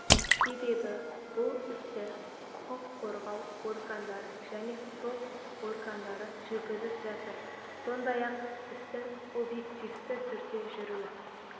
себебі бұл істі құқық қорғау органдары және сот органдары жүргізіп жатыр сондай-ақ істіңобъективті түрде жүруі